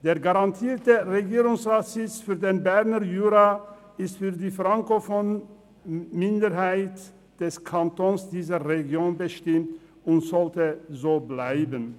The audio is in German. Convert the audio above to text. Der garantierte Regierungsratssitz für den Berner Jura ist für die frankophone Minderheit des Kantons in dieser Region bestimmt und sollte so bleiben.